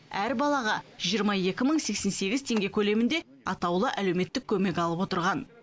әр балаға жиырма екі мың сексен сегіз теңге көлемінде атаулы әлеуметтік көмек алып отырған